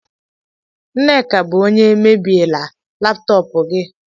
Nneka bụ onye mebiela laptọọpụ gị